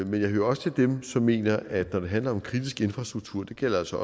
men jeg hører til dem som mener at når det handler om kritisk infrastruktur det gælder altså